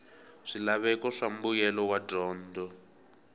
swilaveko swa mbuyelo wa dyondzo